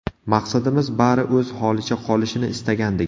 Maqsadimiz, bari o‘z holicha qolishini istagandik.